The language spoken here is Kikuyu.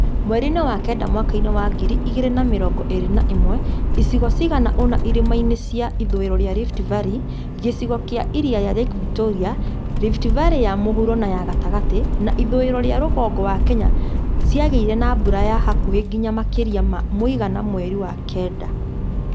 Mweri-inĩ wa kenda mwaka wa ngiri igĩrĩ na mĩrongo ĩrĩ na ĩmwe, icigo cigana ũna irĩma-inĩ cia ithũĩro rĩa Rift Valley, gĩcigo kĩa iria ria Victoria, Rift Valley ya mũhuro nay a gatagatĩ, na ithũiro ya rugongo wa Kenya ciagĩire na mbura ya hakuhĩ nginya makĩria ma mũigana mweri wa kenda